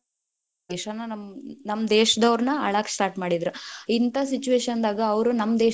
ನಮ್ಮ ದೇಶಾನ, ನಮ್ ನಮ್ಮ ದೇಶದೋನ೯ ಆಳಾಕ start ಮಾಡಿದ್ರ, ಇಂಥಾ situation ದಾಗ ಅವ್ರು ನಮ್ಮ ದೇಶನ್ .